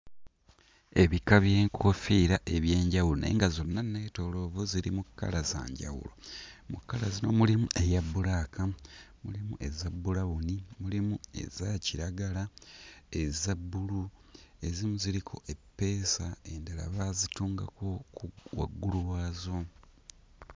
Ebika by'enkoofiira eby'enjawulo naye nga zonna nneetooloovu ziri mu kkala za njawulo. Mu kkala zino mulimu eya bbulaaka, mulimu eza bbulawuni, mulimu eza kiragala, eza bbulu, ezimu ziriko eppeesa endala baazitungako waggulu waazo.